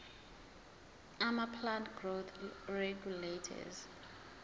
amaplant growth regulators